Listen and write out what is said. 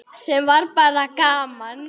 Sem var bara gaman.